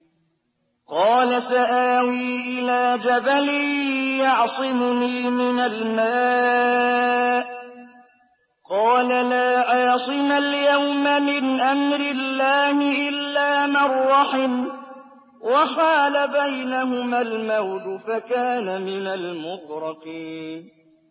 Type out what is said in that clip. قَالَ سَآوِي إِلَىٰ جَبَلٍ يَعْصِمُنِي مِنَ الْمَاءِ ۚ قَالَ لَا عَاصِمَ الْيَوْمَ مِنْ أَمْرِ اللَّهِ إِلَّا مَن رَّحِمَ ۚ وَحَالَ بَيْنَهُمَا الْمَوْجُ فَكَانَ مِنَ الْمُغْرَقِينَ